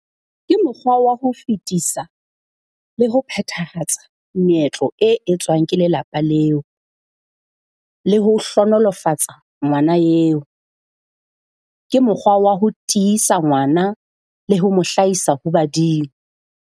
Ke mokgwa wa ho fetisa le ho phethahatsa meetlo e etswang ke lelapa leo le ho hlohonolofatsa ngwana eo. Ke mokgwa wa ho tiisa ngwana le ho mo hlahisa ho badimo.